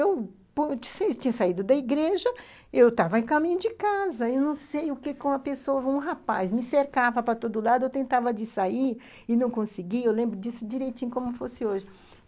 Eu tinha saído da igreja, eu estava a caminho de casa, eu não sei o que com a pessoa, um rapaz me cercava para todo lado, eu tentava de sair e não conseguia, eu lembro disso direitinho como fosse hoje.